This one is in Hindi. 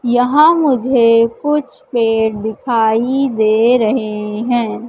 यहां मुझे कुछ पेड़ दिखाई दे रहे हैं।